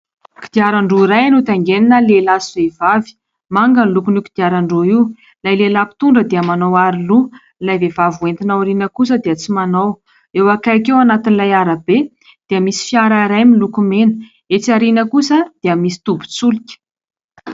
Kodiaran-droa iray no tangenina lehilahy sy vehivavy manga ny lokon'io kodiaran-droa io. Ilay lehilahy mpitondra dia manao aro loha ilay vehivavy hoentina ao aoriana kosa dia tsy manao. Eo akaiky eo anatin'ilay arabe dia misy fiara iray miloko mena. Etsỳ aoriana kosa dia misy tobin-tsolika.